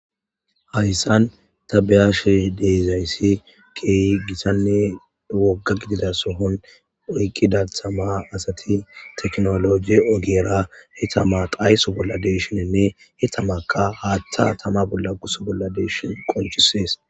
Hayssan tabiyashe deezayssi keeyi gisanne wogga gidida sohon oyqqidathama asati teknoloji ogeera he tama qayso bolla deeshininne he tamaka haaththa tama bolla guso bolla deeshin qonchisees.